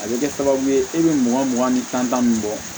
A bɛ kɛ sababu ye e bɛ mugan mugan ni tan min bɔ